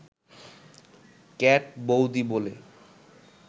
cat বৌদি বলে